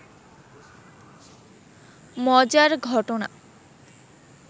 মজার ঘটনা